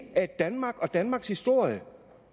af danmark og danmarks historie